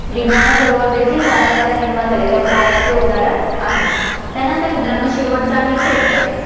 डीडवाना सरोवर देखील वाऱ्याद्वारे निर्माण झाले किंवा playa चे उदाहरण आहे, त्यानंतर मित्रांनो, शेवटचं आहे crater